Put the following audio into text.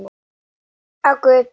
Ef hann hefði verið þannig.